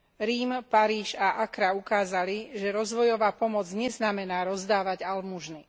Rím, Paríž a Accra ukázali, že rozvojová pomoc neznamená rozdávať almužnu.